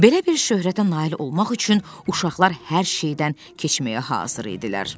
Belə bir şöhrətə nail olmaq üçün uşaqlar hər şeydən keçməyə hazır idilər.